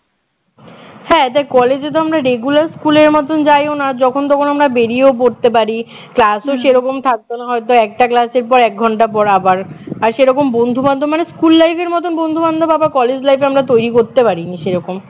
হ্যাঁ তা কলেজে তো আমরা regular স্কুলের মতন যাইও না যখন তখন আমরা বেরিয়ে পড়তে পারি class ও সেরকম থাকত না হয়তো একটা class এর পর এক ঘন্টা পর আবার আর সেরকম বন্ধু বান্ধব মানে স্কুল life এর মতন বন্ধু বান্ধব আবার কলেজ life এ আমরা তৈরি করতে পারিনি সেরকম